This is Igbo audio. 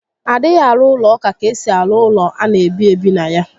A dịghị arụ ụlọ ụka ka esi arụ ụlọ ana ebi ebi na ya